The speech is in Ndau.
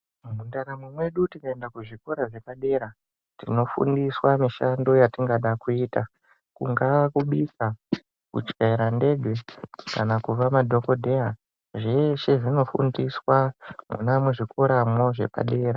Mundaramo medu tikaenda kuzvikora zvepadera tinofundiswa mishando yatingada kuita. Kungaa kubika, kutyaira ndege kana kuva madhogodheya. Zveshe zvinofundiswa mwona muzvikoramwo zvepadera.